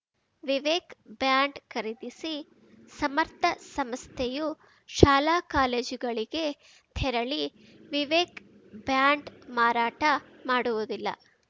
Vivek band ಖರೀದಿಸಿ ಸಮರ್ಥ ಸಂಸ್ಥೆಯು ಶಾಲಾಕಾಲೇಜುಗಳಿಗೆ ತೆರಳಿ ವಿವೇಕ್‌ ಬ್ಯಾಂಡ್‌ ಮಾರಾಟ ಮಾಡುವುದಿಲ್ಲ